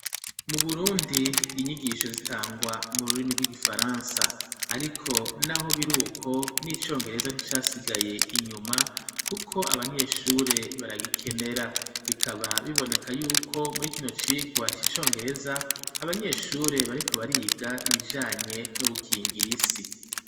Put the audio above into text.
Mu burundi inyigisho zitangwa mu rurimi rw'igifaransa, ariko naho biruko n'icongereza nticasigaye inyuma kuko abanyeshure baragikenera, bikaba biboneka yuko muri kino cigwa c'icongereza abanyeshure bariko bariga ibijanye no gukingira isi.